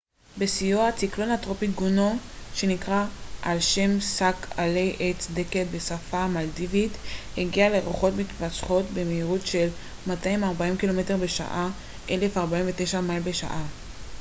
בשיאו הציקלון הטרופי גונו שנקרא על שם שק עלי עץ דקל בשפה המלדיבית הגיע לרוחות מתמשכות במהירות של 240 קילומטר בשעה 149 מייל בשעה